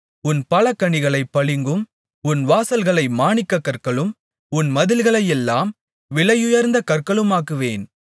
உன் பலகணிகளைப் பளிங்கும் உன் வாசல்களை மாணிக்கக் கற்களும் உன் மதில்களையெல்லாம் விலையுயர்ந்த கற்களுமாக்குவேன்